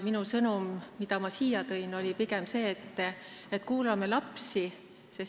Minu sõnum, mille ma siia tõin, oli pigem see, et kuulame lapsi.